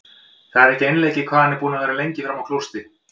Það er ekki einleikið hvað hann er búinn að vera lengi frammi á klósetti!